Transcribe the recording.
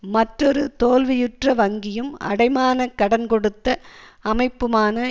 மற்றொரு தோல்வியுற்ற வங்கியும் அடைமான கடன் கொடுத்த அமைப்புமான